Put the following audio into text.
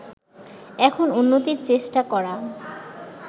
এখন উন্নতির চেষ্টা করা